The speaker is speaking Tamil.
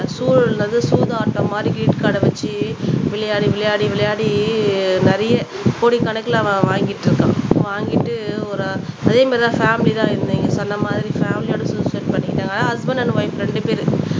சூதாட்டம் மாதிரி கிரெடிட் கார்ட வச்சு விளையாடி விளையாடி விளையாடி நிறைய கோடிக்கணக்குல அவன் வாங்கிட்டு இருக்கான் வாங்கிட்டு ஒரு அதே மாதிரிதான் பேமிலி தான் நீங்க சொன்ன மாதிரி பேமிலியோட சூசைட் பண்ணிட்டாங்க அஸ்பென்ட் அண்ட் ஒய்ப் ரெண்டு பேரு